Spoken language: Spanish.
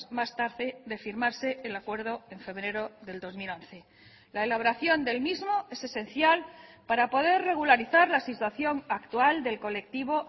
más tarde de firmarse el acuerdo en febrero del dos mil once la elaboración del mismo es esencial para poder regularizar la situación actual del colectivo